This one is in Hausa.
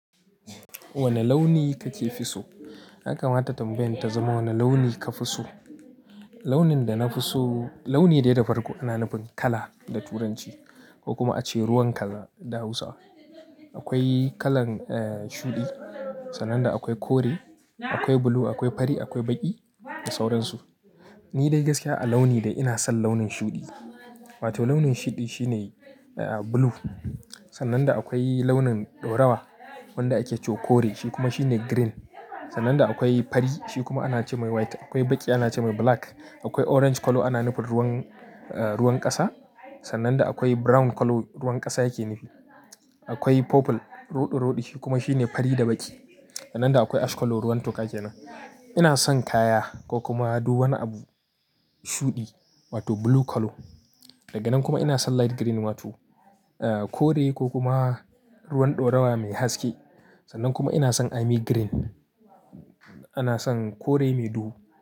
Wane launi kake fi so? Yakamata tambayan ta zama wane launi ka fi so. Launin da na fi so launi dai da farko ana nufin kala da Turanci ko kuma a ce ruwan kaza da Hausa. Akwai kalan, eh, shuɗi, sannan da akwai kore, akwai blue, akwai fari, akwai baƙi da sauransu. Ni dai gaskiya a launi dai ina son launin shuɗi wato launin shiɗi shine eh blue. Sannan da akwai launin ɗaurawa wanda ake cewa kore shi kuma shine green. Sannan da akwai fari shi kuma ana ce mai white. Akwai baƙi ana ce mai black. Akwai orange colour ana nufin ruwan, eh, ruwan ƙasa. Sannan akwai brown colour ruwan ƙasa yake nufi. Akwai purple roɗo-roɗi shi kuma shine fari da baƙi. Sannan da akwai ash colour ruwan toka kenan. Ina son kaya ko kuma duk wani abu shuɗi wato blue colour. Dage nan kuma ina son light green wato kore ko kuma ruwan ɗaurawa mai haske. Sannan kuma ina son army green. Ina son kore mai duhu.